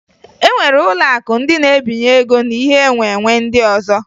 E nwere ụlọakụ ndị na-ebinye ego na ihe nwenwe ndị ọzọ